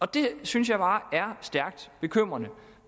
det synes jeg bare er stærkt bekymrende